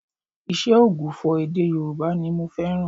Ìṣe ògbufọ̀ èdè Yorùbá ni mo fẹ́ràn